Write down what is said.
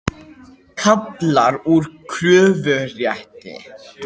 Kaflar úr kröfurétti.